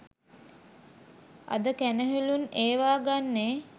අද කැනහිලුන් ඒවා ගන්නේ